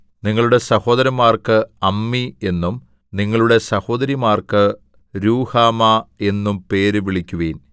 നിങ്ങളുടെ സഹോദരന്മാർക്ക് അമ്മീ എന്നും നിങ്ങളുടെ സഹോദരിമാർക്ക് രൂഹമാ എന്നും പേര് വിളിക്കുവിൻ